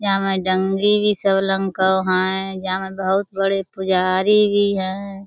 याँ में जंगी भी को हैं। जाँ में बहुत बड़े पुजारी भी है।